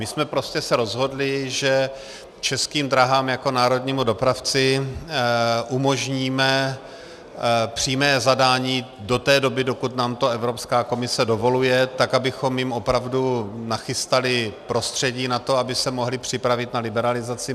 My jsme prostě se rozhodli, že Českým dráhám jako národnímu dopravci umožníme přímé zadání do té doby, dokud nám to Evropská komise dovoluje, tak abychom jim opravdu nachystali prostředí na to, aby se mohly připravit na liberalizaci.